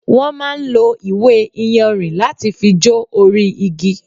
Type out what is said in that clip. wọ́n máa ń lo ìwé iyanrìn láti fi jó orí igi